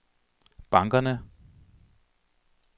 bankerne